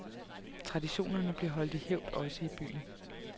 Traditionerne bliver holdt i hævd også i byen.